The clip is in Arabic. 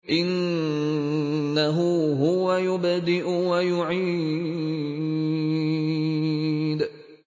إِنَّهُ هُوَ يُبْدِئُ وَيُعِيدُ